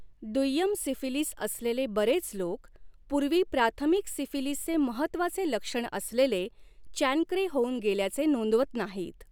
दुय्यम सिफिलीस असलेले बरेच लोक पूर्वी प्राथमिक सिफिलीसचे महत्वाचे लक्षण असलेले चॅनक्रे होऊन गेल्याचे नोंदवत नाहीत.